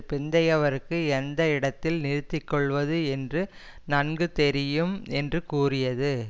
பிந்தையவருக்கு எந்த இடத்தில் நிறுத்தி கொள்ளுவது என்று நன்கு தெரியும் என்று கூறியது